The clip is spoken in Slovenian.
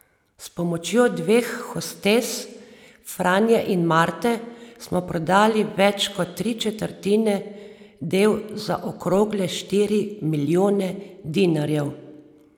S pomočjo dveh hostes, Franje in Marte, smo prodali več kot tri četrtine del za okrogle štiri milijone dinarjev.